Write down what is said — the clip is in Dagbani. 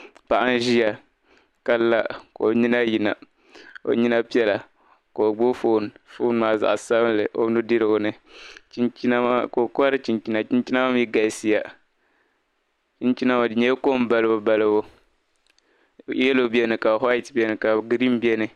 paɣa n ʒiya ka la ka o nyina yina o nyina piɛla ka o gbubi "phone" phone maa zaɣa sabinli o ni dirigu ni ka o kohiri chinchina, chinchina maa mi galisiya, chinchina maa di nyɛla kom balibu balibu "yellow"ka "white," beni ka green beni.